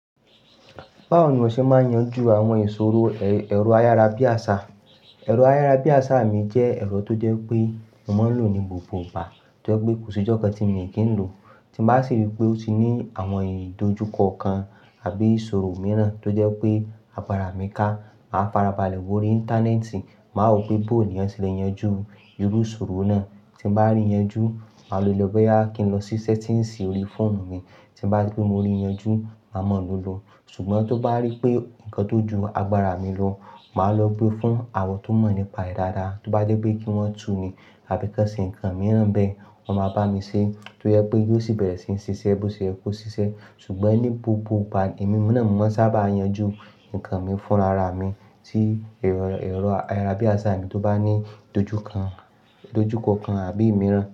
Báwo ni iwọ ṣe máa yanjú àwọn ìṣòro ẹ̀rọ ayárabíàṣá? Ẹ̀rọ ayárabíàṣá mi jẹ́ ẹ̀rọ tó jẹ́ wipé mo máa ń lò ní gbogbo ìgbà, tó jẹ́ pé kò sí ìjọ̀kan tí mo kí n lo. Tí n bá sì rí pé ó ti ní àwọn ìdojúkọ kan àbí ìsòro mìíràn tó jẹ́ pé agbára mi ká, màá farabalẹ̀ wórí Íńtánẹ́ẹ̀tì, màá wo pé bó ni yan sele yanjú irú ìṣòro náà. Tí n bá rí yanjú, màá lo lọ boyà kí n lọ sí sẹ́tíǹsì orí fóònù mi. Tí n bá rí pé mo rí yanjú, màá mọ̀ ló lọ. Ṣùgbọ́n tó bá rí pé nǹkan tó ju agbára mi lọ, màá lọ gbe fún àwọn tó mọ̀ nípa rẹ̀ dáadáa. Tí ó bá dé pé kí wọ́n tú ni àbí kọ́ sin nǹkan mìíràn n bẹ́ẹ̀, wọ́n máa bá mi ṣe. Tó jẹ́ pé yóò sì bẹ̀rẹ̀ sí ní sisẹ́ bó ṣe yẹ kó sisẹ́. Ṣùgbọ́n ní gbogbo ìgbà emí múná mo maa n sá bá yanjú nǹkan mi fúnra rà mí tí ẹ̀rọ ayárabíàṣá mi tó bá ní idojukan, ìdojúkọ kan àbí mìíràn.